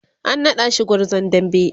an naɗa shi gwarzon dambe